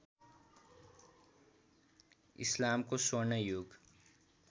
इस्लामको स्वर्ण युग